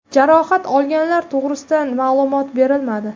Jarohat olganlar to‘g‘risida ma’lumot berilmadi.